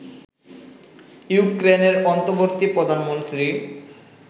ইউক্রেইনের অন্তর্বর্তী প্রধানমন্ত্রী